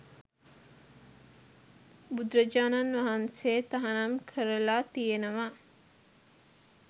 බුදුරජාණන් වහන්සේ තහනම් කරලා තියෙනවා